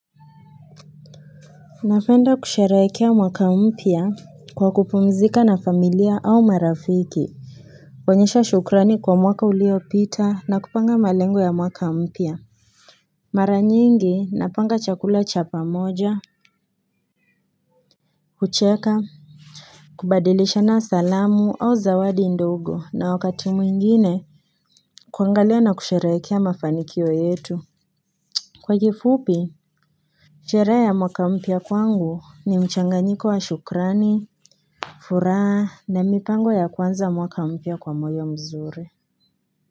Napenda kushereekea mwaka mpya kwa kupumzika na familia au marafiki kuonyesha shukrani kwa mwaka uliopita na kupanga malengo ya mwaka mpya Mara nyingi napanga chakula cha pamoja kucheka kubadilishana salamu au zawadi ndogo na wakati mwingine kuangalia na kushereekea mafanikio yetu Kwa kifupi Sheree ya mwaka mpya kwangu ni mchanganyiko wa shukrani furaa na mipango ya kuanza mwaka mpya kwa moyo mzuri.